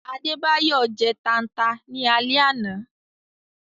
Adebayọ jẹ́ tànta ni àle àná